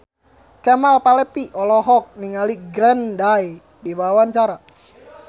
Kemal Palevi olohok ningali Green Day keur diwawancara